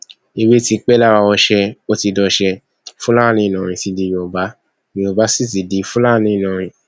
èwe ti pẹ lára ọsẹ ó ti dọṣẹ fúlàní ìlọrin ti di yorùbá yorùbá sì ti di fúlàní ìlọrin